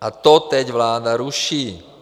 - A to teď vláda ruší.